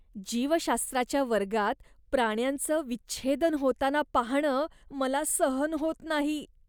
जीवशास्त्राच्या वर्गात प्राण्यांचं विच्छेदन होताना पाहणं मला सहन होत नाही.